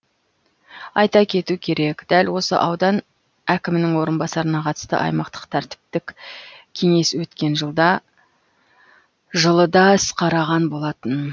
айта кету керек дәл осы аудан әкімінің орынбасарына қатысты аймақтық тәртіптік кеңес өткен жылы да іс қараған болатын